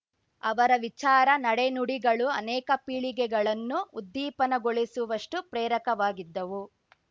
ಅವರ ವಿಚಾರ ನಡೆನುಡಿಗಳು ಅನೇಕ ಪೀಳಿಗೆಗಳನ್ನು ಉದ್ದೀಪನಗೊಳಿಸುವಷ್ಟುಪ್ರೇರಕವಾಗಿದ್ದವು